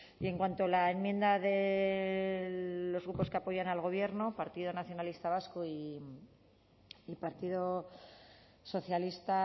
y en cuanto a la enmienda de los grupos que apoyan al gobierno partido nacionalista vasco y partido socialista